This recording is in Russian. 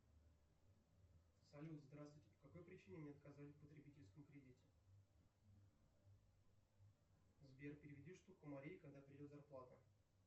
салют здравствуйте по какой причине мне отказали в потребительском кредите сбер переведи штуку марии когда придет зарплата